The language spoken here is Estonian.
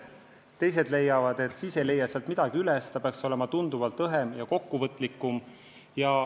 Teised leiavad, et siis ei leiaks sealt midagi üles, et eelarve peaks olema tunduvalt õhem ja kokkuvõtlikum.